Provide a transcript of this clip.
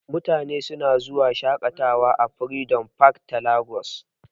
Mutane suna zuwa shaƙatawa a freedom park ta Lagos.